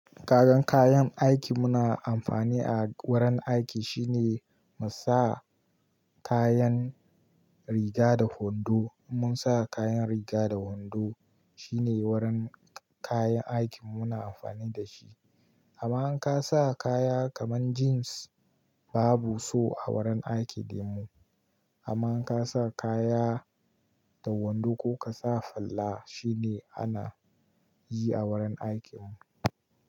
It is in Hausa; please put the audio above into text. Kagan kayan aiki muna amfani a wurin aiki shine mu sa kayan riga da hundo. In mun sa kayan riga da hundo shine wurin kayan aikin muna amfani da shi. Kaman in ka sa kaya kaman jeans babu so a wurin aiki din mu. Amma in ka sa kaya da hundo ko ka sa fulla shine ana yi a wurin aikin mu.